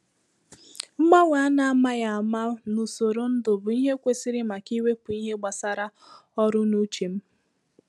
Mgbanwe a n’ámàghị áma n’usoro ndụ bụ ìhè kwesịrị maka iwepụ ihe gbasàrà ọrụ n'uche m